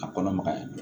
A kɔnɔ magaya